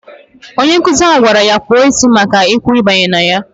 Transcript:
Onye nkụzi ha gwara ya kpọ isi ya maka igwu ibanye ya!